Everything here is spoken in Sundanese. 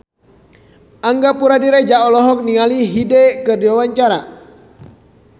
Angga Puradiredja olohok ningali Hyde keur diwawancara